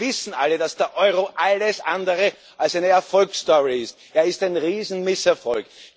Wir wissen alle, dass der Euro alles andere als eine Erfolgsstory ist, er ist ein riesiger Misserfolg.